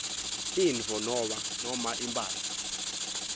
tintfo noma imphahla